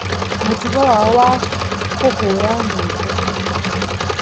Mũtugo wao wa kũhũũra nyĩmbo.